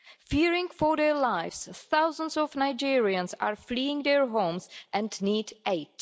Fearing for their lives, thousands of Nigerians are fleeing their homes and need aid.